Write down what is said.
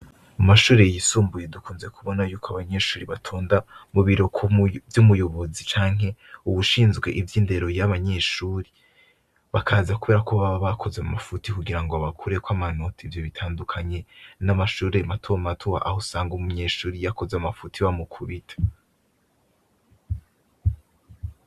Umashuree yisumbuye dukunze kubona yuko abanyeshuri batonda mu birokvy'umuyobozi canke uwushinzwe ivyo indero y'banyeshuri bakaza, kubera ko baba bakoze mu mafuti kugira ngo abakureko amanota ivyo bitandukanye n'amashuree matu matuba aho sanga uwo munyeshuri yakoze amafuti wa mu kubita waw.